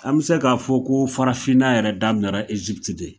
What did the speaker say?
An bɛ se k'a fɔ ko farafinna yɛrɛ daminɛ